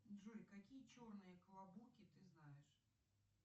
джой какие черные клобуки ты знаешь